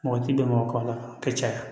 Mɔgɔ ti bɛn mɔgɔ kan a ka caya